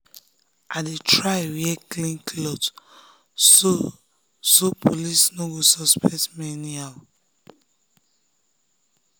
i dey try wear clean cloth so so police no go suspect me anyhow.